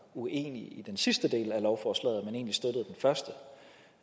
uenige i den sidste del af lovforslaget og